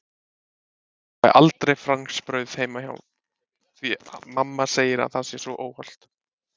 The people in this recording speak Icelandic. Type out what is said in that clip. Ég fæ aldrei franskbrauð heima því mamma segir að það sé svo óhollt!